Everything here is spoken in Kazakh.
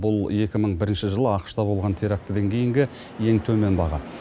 бұл екі мың бірінші жылы ақш та болған терактіден кейінгі ең төмен баға